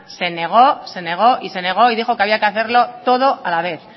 se negó se negó y se negó y dijo que había que hacerlo todo a la vez